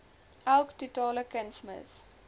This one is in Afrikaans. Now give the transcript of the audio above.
elk totale kunsmis